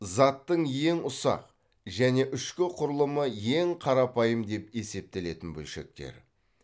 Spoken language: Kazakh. заттың ең ұсақ және ішкі құрылымы ең қарапайым деп есептелетін бөлшектер